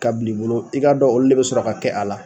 K'a bil'i bolo i k'a dɔ olu de be sɔrɔ ka kɛ a la